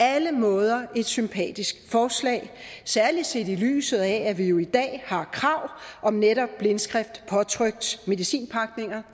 alle måder et sympatisk forslag særlig set i lyset af at vi jo i dag har krav om netop blindskrift påtrykt medicinpakninger